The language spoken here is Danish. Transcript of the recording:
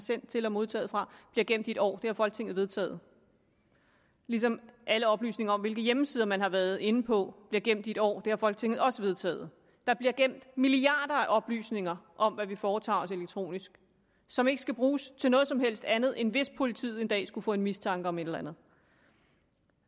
sendt til og modtaget fra bliver gemt i en år det har folketinget vedtaget ligesom alle oplysninger om hvilke hjemmesider man har været inde på bliver gemt i en år det har folketinget også vedtaget der bliver gemt milliarder af oplysninger om hvad vi foretager os elektronisk som ikke skal bruges til noget som helst andet end hvis politiet en dag skulle få en mistanke om et eller andet